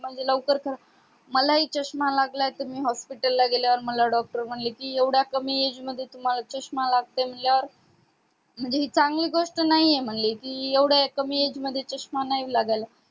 म्हणजे लवकर करा मला हि चष्मा लागलाय त मी hospital ला गेल्यावर मला doctor म्हणले कि एवढ्या कमी age मध्ये तुम्हाला चस्मा लागतय म्हणल्यावर म्हणजे हि चांगली गोष्ट नाही म्हणजे एवढ्या कमी age चष्मा नाही लागायला